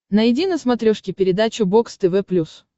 найди на смотрешке передачу бокс тв плюс